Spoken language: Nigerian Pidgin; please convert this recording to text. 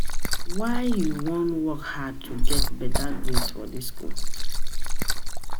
why you no wan work hard to get better grades for dis school?